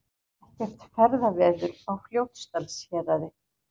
Ekkert ferðaveður á Fljótsdalshéraði